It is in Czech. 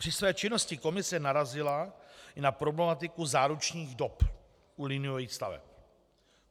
Při své činnosti komise narazila i na problematiku záručních dob u liniových staveb.